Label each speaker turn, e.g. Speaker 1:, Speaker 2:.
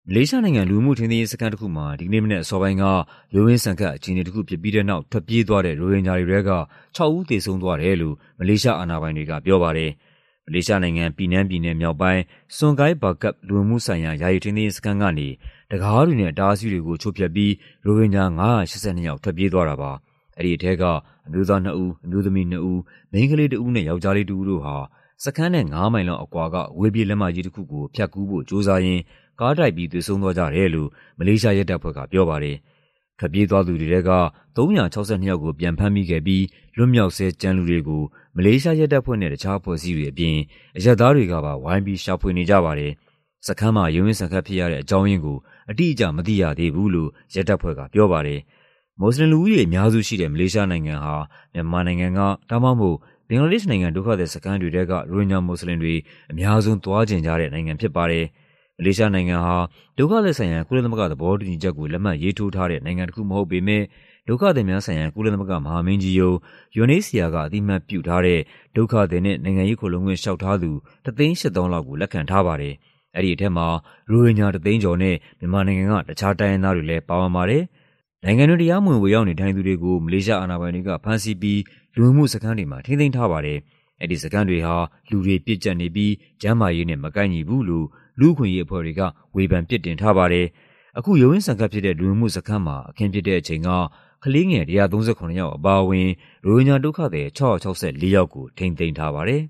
Speaker 1: မလေးရှားနိုင်ငံ၊ လူဝင်မှုထိန်းသိမ်းရေးစခန်းတခုမှာ ဒီကနေ့မနက်အစောပိုင်းက ရုန်းရင်းဆန်ခတ် အခြေအနေတခုဖြစ်ပြီးတဲ့နောက် ထွက်ပြေးသွားတဲ့ ရိုဟင်ဂျာတွေထဲက ၆ ဦး သေဆုံးသွားတယ်လို့ မလေးရှားအာဏာပိုင်တွေက ပြောပါတယ်။ မလေးရှားနိုင်ငံ၊ ပီနန်းပြည်နယ်မြောက်ပိုင်း၊ Sungai Bakap လူဝင်မှုဆိုင်ရာ ယာယီ ထိန်းသိမ်းရေးစခန်းကနေ တံခါးတွေနဲ့ အတားအဆီးတွေကို ချိုးဖျက်ပြီး ရိုဟင်ဂျာ ၅၈၂ ယောက် ထွက်ပြေးသွားတာပါ။ အဲဒီထဲက အမျိုးသားနှစ်ဦး၊ အမျိုးသမီးနှစ်ဦး၊ မိန်းကလေးတဦးနဲ့ ယောက်ျားလေးတဦးတို့ဟာ စခန်းနဲ့ ၅ မိုင်လောက်အကွာက အဝေးပြေးလမ်းမကြီးတခုကို ဖြတ်ကူးဖို့ကြိုးစားရင်း ကားတိုက်ပြီး သေဆုံးသွားကြတယ်လို့ မလေးရှားရဲတပ်ဖွဲ့က ပြောပါတယ်။ ထွက်ပြေးသွားသူတွေထဲက ၃၆၂ ယောက်ကို ပြန်ဖမ်းမိခဲ့ပြီး လွတ်မြောက်ဆဲ ကျန်လူတွေကို မလေးရှားရဲတပ်ဖွဲ့နဲ့ တခြားအဖွဲ့အစည်းတွေအပြင် အရပ်သားတွေကပါ ဝိုင်းပြီး ရှာဖွေနေကြပါတယ်။ စခန်းမှာ ရုန်းရင်းဆန်ခတ်ဖြစ်ရတဲ့ အကြောင်းရင်းကို အတိအကျ မသိရသေးဘူးလို့ ရဲတပ်ဖွဲ့ကပြောပါတယ်။ မွတ်ဆလင်လူဦးရေ အများစုရှိတဲ့ မလေးရှားနိုင်ငံဟာ မြန်မာနိုင်ငံက ဒါမှမဟုတ် ဘင်္ဂလားဒေ့ရှ်နိုင်ငံ ဒုက္ခသည်စခန်းတွေထဲက ရိုဟင်ဂျာမွတ်ဆလင်တွေ အများဆုံးသွားချင်ကြတဲ့ နိုင်ငံဖြစ်ပါတယ်။ မလေးရှားနိုင်ငံဟာ ဒုက္ခသည်ဆိုင်ရာ ကုလသမဂ္ဂသဘောတူညီချက်ကို လက်မှတ်ရေးထိုးထားတဲ့ နိုင်ငံတခုမဟုတ်ပေမယ့် ဒုက္ခသည်များဆိုင်ရာ ကုလသမဂ္ဂမဟာမင်းကြီးရုံး (UNHCR) က အသိအမှတ်ပြုထားတဲ့ ဒုက္ခသည်နဲ့ နိုင်ငံရေးခိုလှုံခွင့်လေ ျှာက်ထားသူ ၁၈၀,၀၀၀ လောက်ကို လက်ခံထားပါတယ်။ အဲဒီထဲမှာ ရိုဟင်ဂျာ ၁၀၀,၀၀၀ ကျော်နဲ့ မြန်မာနိုင်ငံက တခြားတိုင်းရင်းသားတွေလည်း ပါဝင်ပါတယ်။ နိုင်ငံတွင်း တရားမဝင် ဝင်ရောက်နေထိုင်သူတွေကို မလေးရှားအာဏာပိုင်တွေက ဖမ်းဆီးပြီး လူဝင်မှုစခန်းတွေမှာ ထိန်းသိမ်းထားပါတယ်။ အဲဒီစခန်းတွေဟာ လူတွေပြည့်ကျပ်နေပြီး ကျန်းမာရေးနဲ့ မကိုက်ညီဘူးလို့ လူ့အခွင့်အရေးအဖွဲ့တွေက ဝေဖန်ပြစ်တင်ထားပါတယ်။ အခု ရုန်းရင်းဆန်ခတ်ဖြစ်တဲ့ လူဝင်မှုစခန်းမှာ အခင်းဖြစ်တဲ့အချိန်က ကလေးငယ် ၁၃၇ ယောက် အပါအဝင် ရိုဟင်ဂျာဒုက္ခသည် ၆၆၄ ယောက်ကို ထိန်းသိမ်းထားပါတယ်